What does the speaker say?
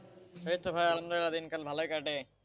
এই তো ভাই আলহামদুলিল্লাহ, দিনকাল ভালই কাটে।